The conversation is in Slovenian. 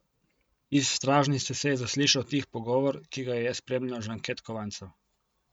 Iz stražnice se je zaslišal tih pogovor, ki ga je spremljal žvenket kovancev.